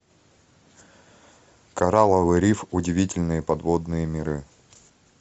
коралловый риф удивительные подводные миры